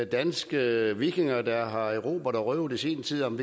danske vikinger der har erobret og røvet i sin tid om